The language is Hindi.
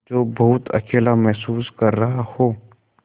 जो बहुत अकेला महसूस कर रहा हो